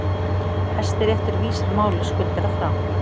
Hæstiréttur vísar máli skuldara frá